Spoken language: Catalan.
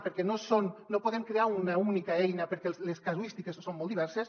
perquè no podem crear una única eina perquè les casuístiques són molt diverses